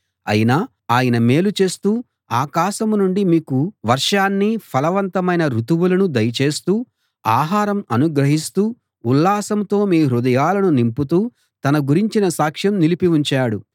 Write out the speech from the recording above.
అయినా ఆయన మేలు చేస్తూ ఆకాశం నుండి మీకు వర్షాన్నీ ఫలవంతమైన రుతువులనూ దయచేస్తూ ఆహారం అనుగ్రహిస్తూ ఉల్లాసంతో మీ హృదయాలను నింపుతూ తన గురించిన సాక్ష్యం నిలిపి ఉంచాడు